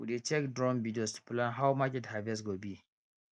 we dey check drone videos to plan how market harvest go be